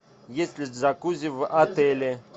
есть ли джакузи в отеле